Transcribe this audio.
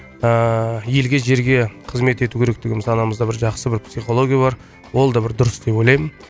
ыыы елге жерге қызмет ету керек деген санамызда бір жақсы бір психология бар ол да бір дұрыс деп ойлаймын